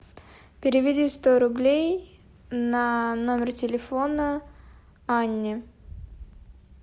переведи сто рублей на номер телефона анне